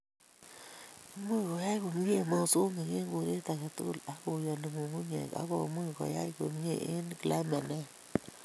Imuchi koyai komye mosongik eng koret age tugul ak koyani nyung'unyek akomuchi koyai komye eng climate ne ya